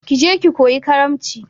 Ki je ki koyi karamci!